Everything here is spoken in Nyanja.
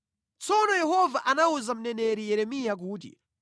Tsono Yehova anawuza mneneri Yeremiya kuti,